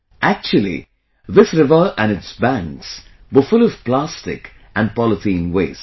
Actually, this river and its banks were full of plastic and polythene waste